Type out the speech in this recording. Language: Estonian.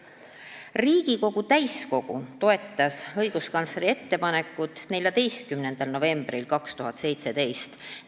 Riigikogu täiskogu toetas õiguskantsleri ettepanekut 14. novembril 2017.